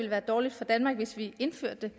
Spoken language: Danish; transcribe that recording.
være dårligt for danmark hvis vi indførte